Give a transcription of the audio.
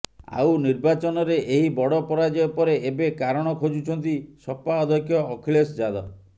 ଆଉ ନିର୍ବାଚନରେ ଏହି ବଡ ପରାଜୟ ପରେ ଏବେ କାରଣ ଖୋଜୁଛନ୍ତି ସପା ଅଧ୍ୟକ୍ଷ ଅଖିଲେଶ ଯାଦବ